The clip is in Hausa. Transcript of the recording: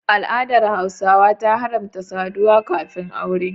Al'adar Hausawa ta haramta saduwa kafin Aure.